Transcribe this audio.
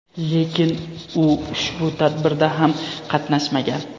Lekin u ushbu tadbirda ham qatnashmagan.